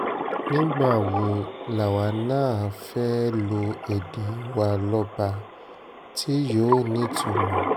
nígbà wo làwa náà fẹ́ẹ́ lo èdè wa lọ́ba tí yóò nítumọ̀